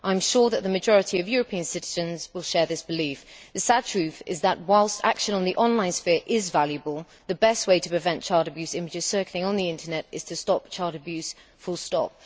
I am sure that the majority of European citizens will share this belief. The sad truth is that, whilst action on the online sphere is valuable, the best way to prevent child abuse images circulating on the Internet is to stop child abuse full stop!